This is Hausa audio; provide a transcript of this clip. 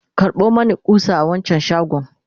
karɓo Mani ƙusa a wancan shagon!